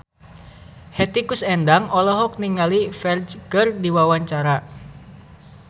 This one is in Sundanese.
Hetty Koes Endang olohok ningali Ferdge keur diwawancara